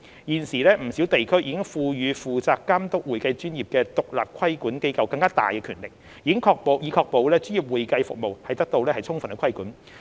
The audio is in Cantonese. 現時，不少地區已賦予負責監督會計專業的獨立規管機構更大權力，以確保專業會計服務得到充分規管。